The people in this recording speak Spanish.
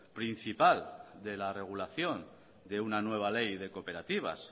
principal de la regulación de una nueva ley de cooperativas